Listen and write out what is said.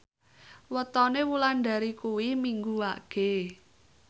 wetone Wulandari kuwi Minggu Wage